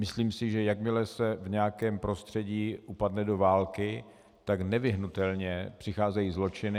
Myslím si, že jakmile se v nějakém prostředí upadne do války, tak nevyhnutelně přicházejí zločiny.